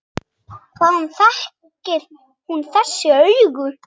Hvaðan þekkir hún þessi augu?